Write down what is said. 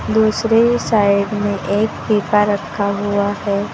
दूसरी साइड में एक पीपा रखा हुआ है।